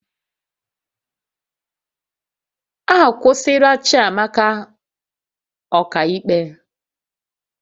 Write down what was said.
Akwụsịla Chiamaka ọka ikpe